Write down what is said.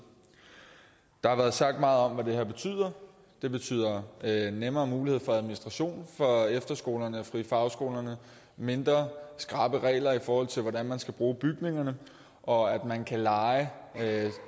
der har været sagt meget om hvad det her betyder det betyder nemmere mulighed for administration for efterskolerne og de frie fagskoler mindre skrappe regler i forhold til hvordan man skal bruge bygningerne og at man kan leje